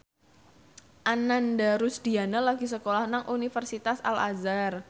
Ananda Rusdiana lagi sekolah nang Universitas Al Azhar